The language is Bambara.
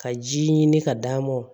Ka ji ɲini ka d'a ma